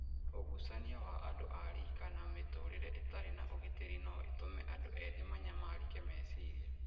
Ũgucania wa andũ ariika na mĩtũũrĩre ĩtarĩ na ũgitĩri no gũtũme andũ ethĩ manyamarĩke meciria.